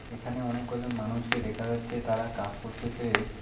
এখানে অনেক কজন মানুষকে দেখা যাচ্ছে তারা কাজ করতেসে।